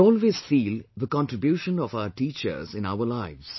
We always feel the contribution of our teachers in our lives